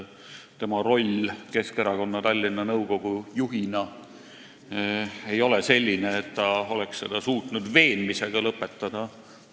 Tema roll Keskerakonna Tallinna nõukogu juhina ei ole ilmselt selline, et ta oleks seda suutnud veenmisega lõpetada.